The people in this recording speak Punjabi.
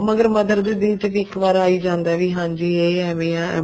ਫ਼ੇਰ mother ਦੇ ਦਿਲ ਵਿੱਚ ਵੀ ਇੱਕ ਵਾਰ ਆ ਹੀ ਜਾਂਦਾ ਵੀ ਹਾਂਜੀ ਇਹ ਏਵੇਂ ਆ ਏਵੇਂ ਆ